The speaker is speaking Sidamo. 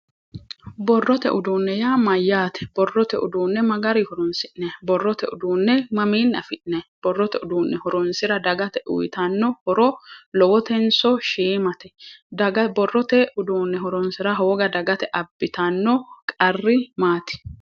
borrote uduunne yaa mayyaate? borrote uduunne ma garinni horonsi'neemmo? borrote uduunne mamiinni afi'nanni? borrote uduunne horonsirsaura dagate uyiitanno horo lowotenso shiimate? daga borrote uduunne horonsira hooga abbitanno qarri maati?